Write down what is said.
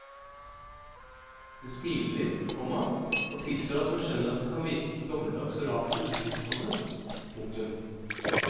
Hun smiler litt, komma og tilstår at hun skjønner at det kan virke gammeldags og rart for utenforstående. punktum